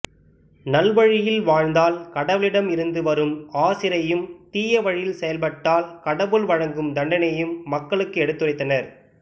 நல் வழியில் வாழ்ந்தால் கடவுளிடம் இருந்து வரும் ஆசீரையும் தீய வழியில் செயல்பட்டால் கடவுள் வழங்கும் தண்டனையையும் மக்களுக்கு எடுத்துரைத்தனர்